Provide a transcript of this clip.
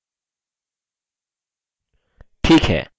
ठीक है यहाँ एक अन्य नियत कार्य है